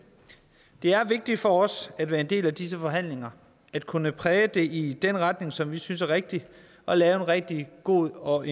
det er vigtigt for os at være en del af disse forhandlinger at kunne præge det i den retning som vi synes er rigtig og lave en rigtig god og